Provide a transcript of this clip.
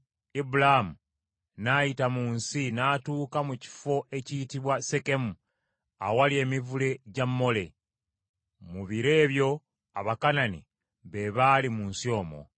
Ibulaamu n’ayita mu nsi n’atuuka mu kifo ekiyitibwa Sekemu awali emivule gya Mole. Mu biro ebyo Abakanani be baali mu nsi omwo.